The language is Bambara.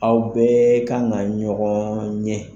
Aw bɛ kan ka ɲɔgɔn ye.